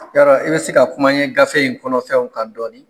Yala i bɛ se ka kuma n ye gafe in kɔnɔfɛnw kan dɔɔnin.